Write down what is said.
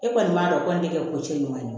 E kɔni b'a dɔn o kɔni tɛ kɛ ko cɛ ɲuman ye